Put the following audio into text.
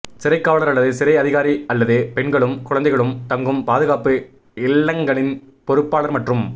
சிறைக் காவலர் அல்லது சிறை அதிகாரி அல்லது பெண்களும் குழந்தைகளும் தங்கும் பாதுகாப்பு இல்லங்களின் பொறுப்பாளர் மற்றும்